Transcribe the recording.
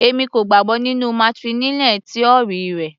Èmi kò gbàgbọ́ nínú matrilineal tíórì rẹ.